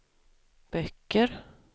böcker